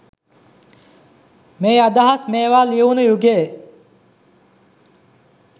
මේ අදහස් මේවා ලියවුණු යුගයේ